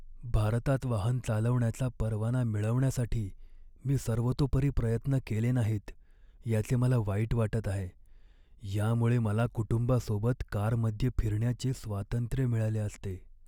भारतात वाहन चालवण्याचा परवाना मिळवण्यासाठी मी सर्वतोपरी प्रयत्न केले नाहीत याचे मला वाईट वाटत आहे. यामुळे मला कुटुंबासोबत कारमध्ये फिरण्याचे स्वातंत्र्य मिळाले असते.